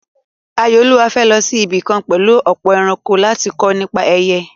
Ayọ̀olúwa fẹ́ lọ sí ibì kan pẹ̀lú ọ̀pọ̀ ẹranko láti kọ́ nípa ẹyẹ.